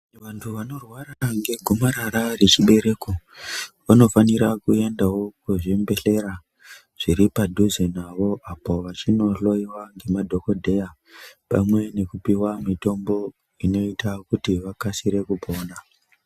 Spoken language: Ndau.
Vantu vanorwara ngehomarara rechibereko vanofanirawo kuenda kuzvibhedhlera zviri padhuze nawo apo vachinohloiwa ngemadhokodheya pamwe nekupiwa mitombo inoita kuti vakasire kupona.